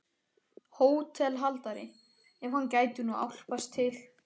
HÓTELHALDARI: Ef hann gæti nú álpast til.